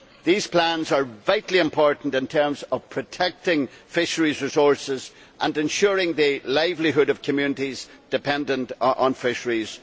These plans are vitally important in terms of protecting fisheries resources and ensuring the livelihood of communities dependent on fisheries.